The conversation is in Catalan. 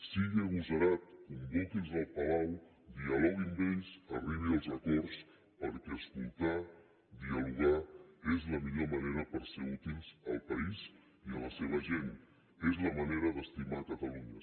sigui agosarat convoqui’ls al palau dialogui amb ells arribi als acords perquè escoltar dialogar és la millor manera per ser útils al país i a la seva gent és la manera d’estimar catalunya senyor mas